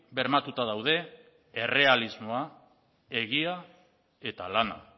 bermatuta daude errealismoa egia eta lana